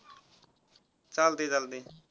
चालतय चालतय.